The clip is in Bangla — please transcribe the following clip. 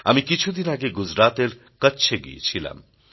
আমি কিছুদিন আগে গুজরাতের কচ্ছে গিয়েছিলাম